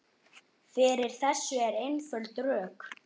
Fyrir þessu eru einföld rök.